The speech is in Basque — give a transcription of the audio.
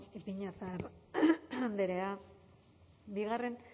ipiñazar andrea